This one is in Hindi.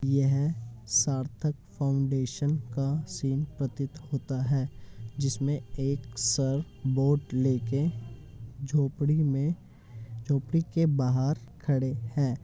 यह सार्थक फाउंडेशन का सीन प्रतीत होता है जिसमें एक सर बोर्ड लेके झोपड़ी में झोपड़ी के बाहर खड़े हैं।